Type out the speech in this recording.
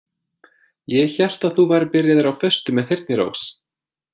Ég hélt að þú værir byrjaður á föstu með Þyrnirós.